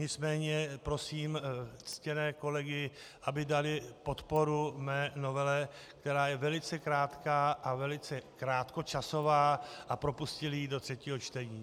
Nicméně prosím ctěné kolegy, aby dali podporu mé novele, která je velice krátká a velice krátkočasová, a propustili ji do třetího čtení.